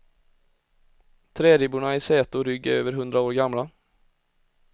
Träribborna i säte och rygg är över hundra år gamla.